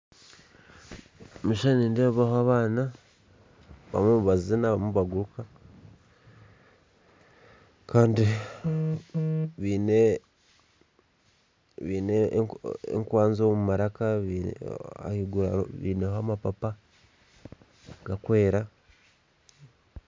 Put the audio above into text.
Omu maisho nindeebaho abaana barimu nibazina, barimu nibaguruka kandi baine baine enkwanzi omu maraka ahaiguru baineho amapapa garikwera